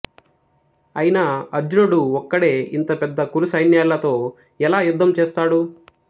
అయినా అర్జునుడు ఒక్కడే ఇంత పెద్ద కురు సైన్యాలతో ఎలా యుద్ధం చేస్తాడు